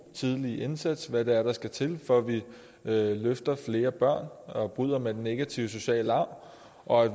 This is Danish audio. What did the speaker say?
tidlige indsats og hvad det er der skal til for at vi løfter flere børn og bryder med den negative sociale arv og